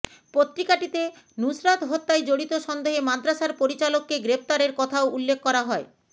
পত্রিকাটিতে নুসরাত হত্যায় জড়িত সন্দেহে মাদ্রাসার পরিচালককে গ্রেফতারের কথাও উল্লেখ করা হয়